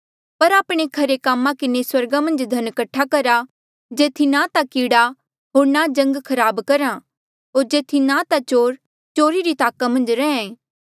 पर आपणे खरे कामा किन्हें स्वर्गा मन्झ धन कठा करा जेथी ना ता कीड़ा होर ना जंग खराब करहा होर जेथी ना ता चोर चोरी री ताका मन्झ रहें